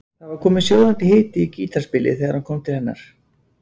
Það var kominn sjóðandi hiti í gítarspilið þegar hann kom til hennar.